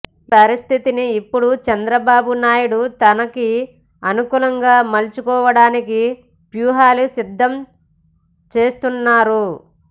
ఈ పరిస్థితిని ఇప్పుడు చంద్రబాబు నాయుడు తనకి అనుకూలంగా మలుచుకోవడానికి వ్యూహాలు సిద్దం చేస్తున్నారు